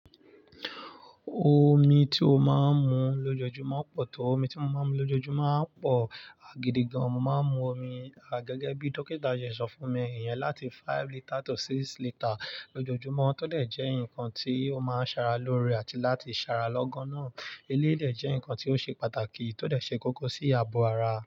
Omi ti o máa ń mu lójoojúmọ́ pọ̀ tó. Omi ti mo máa ń mu lójoojúmọ́ń pọ̀ agidigan, mo máa ń mu omi gẹ́gẹ́ bí dókítà ṣe sọ fún mi, ìyan láti five litre to six litre lójoojúmọ́ tó dẹ̀ jẹ́ nkan tí ó máa ń ṣara lóore àti láti ṣara lọ́gán náà. Eléyi dẹ̀ jẹ́ nkan tí ó ṣe pàtàkì tó dẹ̀ ṣe kókó sí ààbò ara.